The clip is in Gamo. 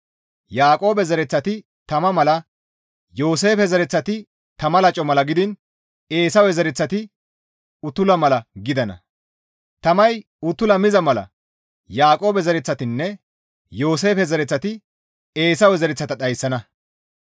Yaaqoobe zereththati tama mala, Yooseefe zereththati tama laco mala gidiin Eesawe zereththati uttula mala gidana; tamay uttula miza mala Yaaqoobe zereththatinne Yooseefe zereththati Eesawe zereththata dhayssana.